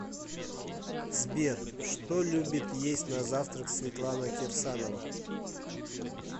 сбер что любит есть на завтрак светлана кирсанова